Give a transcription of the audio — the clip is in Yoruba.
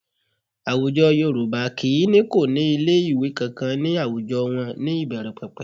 Àwùjọ Yorùbá kì í ní kò ní ilé ìwé kankan ní àwùjọ wọn ní ìbẹ̀rẹ̀pẹ̀pẹ̀